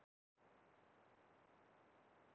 Enginn gefur af engu.